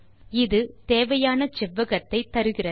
இது தேவையான செவ்வகத்தை தருகிறது